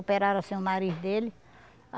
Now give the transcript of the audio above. Operaram assim o nariz dele.